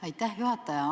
Aitäh, juhataja!